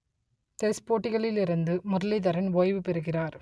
test போட்டிகளில் இருந்து முரளிதரன் ஓய்வு பெறுகிறார்